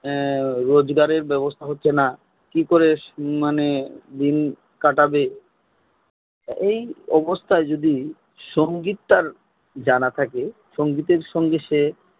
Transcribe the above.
রোজগারের ব্যবস্থা হচ্ছে না কি করে মানে ঋণ কাটাবে এই অবস্থায় যদি সঙ্গীত টা জানা থাকে সঙ্গীতের সঙ্গে সে